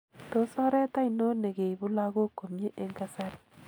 Tos oret ainon nekeibu lagok komie eng kasari?